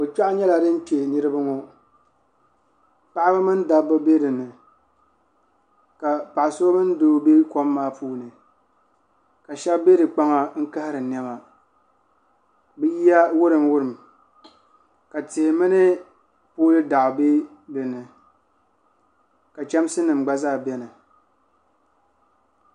kɔ kpegu nyɛla din kpe niriba ŋɔ paɣaba mini dabba bɛ di ni ka paɣa so mini doo bɛ kɔm maa puuni ka shɛba bɛ di kpaŋa n kahiri niɛma bi yiya wurim wurim ka tia mini pooli daɣu bɛ di ni ka chamsi nim gba zaa bɛni.